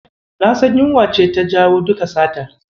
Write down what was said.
Na san yunwa ce ta jawo duka satar.